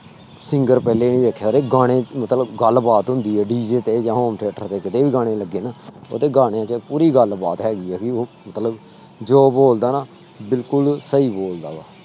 Singer ਪਹਿਲੇ ਨੀ ਵੇਖਿਆ ਉੁਹਦੇ ਗਾਣੇ ਮਤਲਬ ਗੱਲਬਾਤ ਹੁੰਦੀ ਹੈ DJ ਤੇ ਜਾਂ home theater ਤੇ ਕਿਤੇ ਵੀ ਗਾਣੇ ਲੱਗੇ ਨਾ ਉਹਦੇ ਗਾਣੇ ਤੇ ਪੂਰੀ ਗੱਲਬਾਤ ਹੈਗੀ ਹੈ ਵੀ ਉਹ ਮਤਲਬ ਜੋ ਬੋਲਦਾ ਨਾ ਬਿਲਕੁੁਲ ਸਹੀ ਬੋਲਦਾ ਵਾ।